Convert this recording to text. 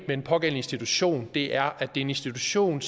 den pågældende institution er det er en institution